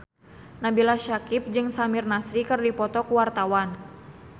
Nabila Syakieb jeung Samir Nasri keur dipoto ku wartawan